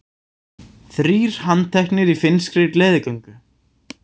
Þrír handteknir í finnskri gleðigöngu